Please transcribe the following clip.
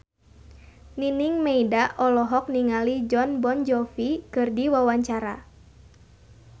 Nining Meida olohok ningali Jon Bon Jovi keur diwawancara